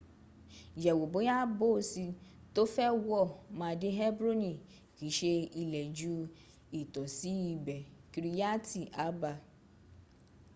yẹ̀wò bóya boosi to fẹ́ wọ̀ ma dé hebroni kii ṣe ilẹ̀ ju itosi ibe kiriyati arba